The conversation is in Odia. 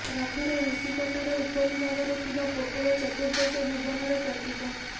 ରଥର ଋଷିପଟାର ଉପରିଭାଗରେ ଥିବା ପୋଟଳ ଚତୁର୍ଦ୍ଦଶ ଭୁବନର ପ୍ରତୀକ